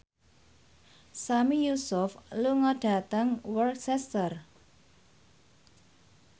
Sami Yusuf lunga dhateng Worcester